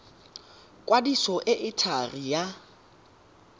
kwadiso e e thari ya